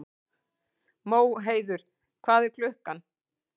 Móheiður, hvað er klukkan?